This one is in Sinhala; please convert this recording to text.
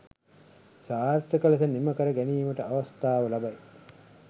සාර්ථක ලෙස නිමකර ගැනීමට අවස්ථාව ලබයි.